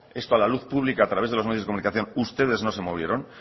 esto a la luz pública a través de los medios de comunicación ustedes no se movieron